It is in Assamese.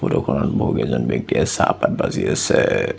ফটোখনত বহুকেইজন ব্যক্তিয়ে চাহপাত বাজি আছে।